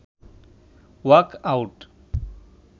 “walk out